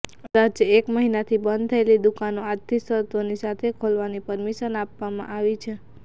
અંદાજે એક મહિનાથી બંધ થયેલી દુકાનો આજથી શરતોની સાથે ખોલવાની પરમિશન આપવામાં આવી છે